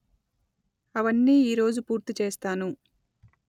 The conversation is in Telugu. అవన్నీ ఈ రోజు పూర్తి చేస్తాను